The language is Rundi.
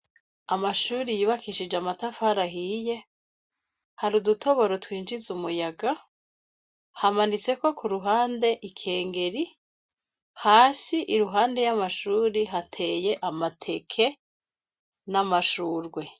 Amashuri yubakishije amatafari ahiye, hari udutoboro twinjiza umuyaga, hamanitseko kuruhande ikengeri, hasi iruhande y'amashuri hateye amateke, n'amashurwe.